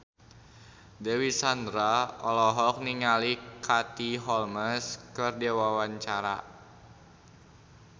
Dewi Sandra olohok ningali Katie Holmes keur diwawancara